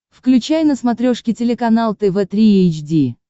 включай на смотрешке телеканал тв три эйч ди